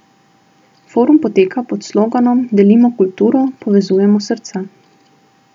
Forum poteka pod sloganom Delimo kulturo, povezujemo srca.